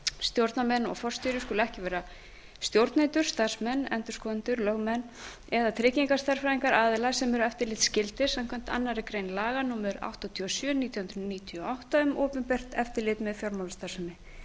stjórnarmenn og forstjóri skulu ekki vera stjórnendur starfsmenn endurskoðendur lögmenn eða tryggingastærðfræðingar aðila sem eru eftirlitsskyldir samkvæmt annarri grein laga númer áttatíu og sjö nítján hundruð níutíu og átta um opinbert eftirlit með fjármálastarfsemi